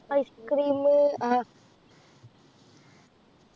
Ice cream ആ